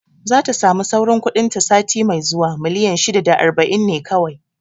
Zata sami sauran kuɗin ta sati mai zuwa, miliyan shida da aiba'in ne kawai